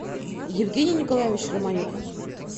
евгений николаевич романюк